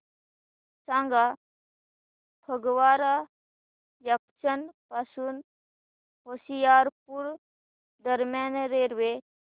सांगा फगवारा जंक्शन पासून होशियारपुर दरम्यान रेल्वे